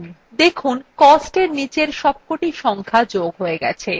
দেখুন costএর নীচের সবকটি সংখ্যা যোগ হয়ে গেছে